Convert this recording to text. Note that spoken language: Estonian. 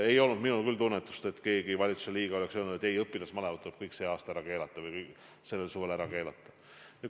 Ei ole minul küll tunnetust, et keegi valitsusliige arvab, et õpilasmalevad tuleb sel suvel ära keelata.